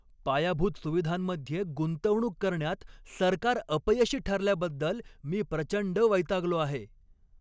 पायाभूत सुविधांमध्ये गुंतवणूक करण्यात सरकार अपयशी ठरल्याबद्दल मी प्रचंड वैतागलो आहे.